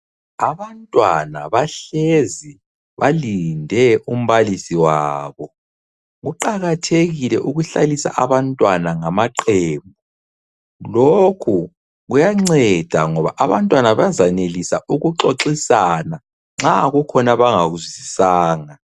Abantwana bahlezi balinde umbalisi wabo. Kuqakathekile ukuhlalisa abantwana ngama qembu. Lokhu kuyanceda ngoba abantwana bazayenelisa ukuxoxisana nxa kukhona abangakuzwisisanga.